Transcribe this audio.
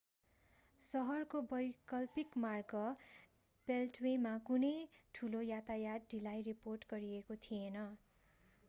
सहरको वैकल्पिक मार्ग बेल्टवेमा कुनै ठूलो यातायात ढिलाई रिपोर्ट गरिएको थिएन